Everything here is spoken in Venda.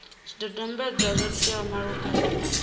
zwidodombedzwa zwo teaho malugana na